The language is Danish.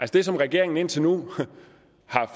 det som regeringen indtil nu har